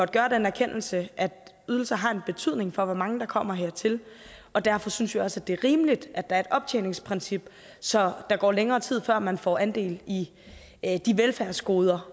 gøre den erkendelse at ydelser har en betydning for hvor mange der kommer hertil og derfor synes vi også det er rimeligt at er et optjeningsprincip så der går længere tid før man får andel i de velfærdsgoder